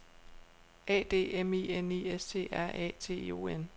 A D M I N I S T R A T I O N